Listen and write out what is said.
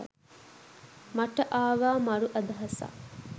මට ආවා මරු අදහසක්.